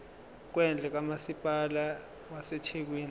kwendle kamasipala wasethekwini